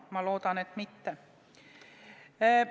Ma loodan, et mitte.